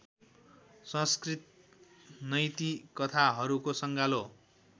संस्कृत नैतिकथाहरूको सँगालो